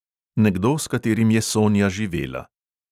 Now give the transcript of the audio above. "Nekdo, s katerim je sonja živela."